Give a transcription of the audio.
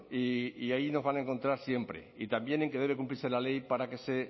y ahí nos van a encontrar siempre y también en que debe cumplirse la ley para que se